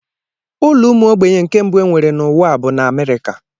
Ụlọ ụmụ ogbenye nke mbụ enwere n'ụwa a bụ na Amerịka.